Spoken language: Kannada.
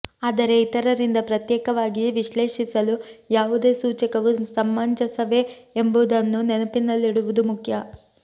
ಆದರೆ ಇತರರಿಂದ ಪ್ರತ್ಯೇಕವಾಗಿ ವಿಶ್ಲೇಷಿಸಲು ಯಾವುದೇ ಸೂಚಕವು ಸಮಂಜಸವೇ ಎಂಬುದನ್ನು ನೆನಪಿನಲ್ಲಿಡುವುದು ಮುಖ್ಯ